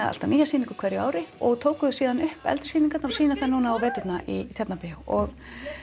alltaf nýja sýningu á hverju ári og tóku síðan upp eldri sýningarnar og sýna þær nú í vetur í Tjarnarbíó og